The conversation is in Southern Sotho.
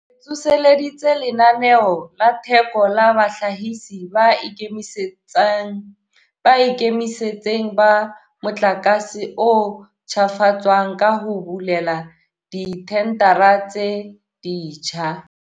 Re tsoseleditse Lenaneo la Theko la Bahlahisi ba Ikemetseng ba Motlakase o Ntjhafatswang ka ho bulela dithendara tse ditjha.